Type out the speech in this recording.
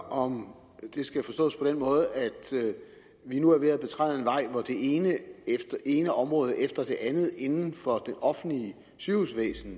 om det skal forstås på den måde at vi nu er ved at betræde en vej hvor det ene ene område efter det andet inden for det offentlige sygehusvæsen